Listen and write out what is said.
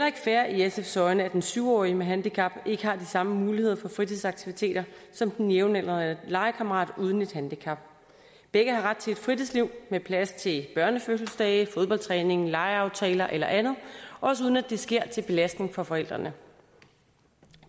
ikke fair i sfs øjne at den syv årige med handicap ikke har de samme muligheder for fritidsaktiviteter som den jævnaldrende legekammerat uden et handicap begge har ret til et fritidsliv med plads til børnefødselsdage fodboldtræning legeaftaler eller andet også uden at det sker til belastning for forældrene